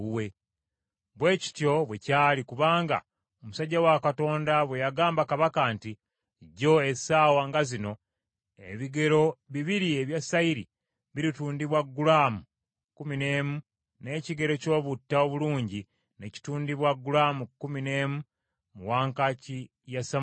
Bwe kityo bwe kyali kubanga omusajja wa Katonda bwe yagamba kabaka nti, “Jjo essaawa nga zino ebigero bibiri ebya sayiri biritundibwa gulaamu kkumi n’emu, n’ekigero ky’obutta obulungi ne kitundibwa gulaamu kkumi n’emu, mu wankaaki ya Samaliya,”